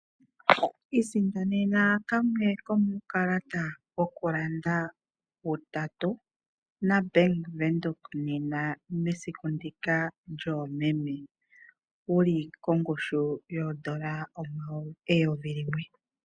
Isindanene kamwe komuukalata wokulanda utatu nombanga yaVenduka nena mesiku ndika lyoomeme, wuli kongushu yoondola eyovi limwe.